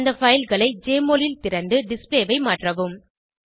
அந்த fileகளை ஜெஎம்ஒஎல் ல் திறந்து டிஸ்ப்ளே ஐ மாற்றவும்